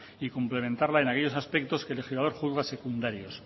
y cumplimentarla en aquellos aspectos que el legislador juzga como secundarios